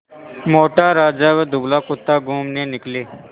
मोटा राजा व दुबला कुत्ता घूमने निकले